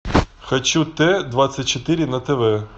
хочу т двадцать четыре на тв